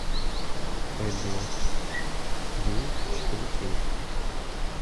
эбигейл четыре кей